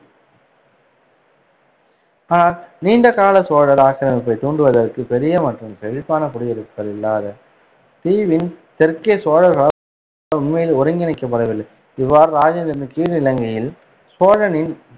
ஆனால் நீண்ட கால சோழர் ஆக்கிரமிப்பைத் தூண்டுவதற்கு பெரிய மற்றும் செழிப்பான குடியிருப்புகள் இல்லாத தீவின் தெற்கே சோழர்களால் உண்மையில் ஒருங்கிணைக்கப்படவில்லை. இவ்வாறு ராஜேந்திரனின் கீழ், இலங்கையில் சோழனின்